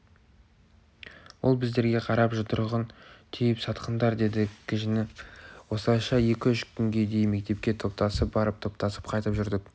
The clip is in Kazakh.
ол біздерге қарап жұдырығын түйіп сатқындар деді кіжініп осылайша екі-үш күнге дейін мектепке топтасып барып топтасып қайтып жүрдік